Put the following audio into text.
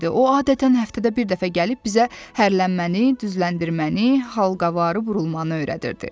O adətən həftədə bir dəfə gəlib bizə hərlənməni, düzləndirməni, halqavarı burulmanı öyrədirdi.